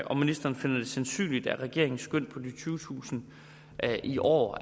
om ministeren finder det sandsynligt at regeringens skøn på de tyvetusind i år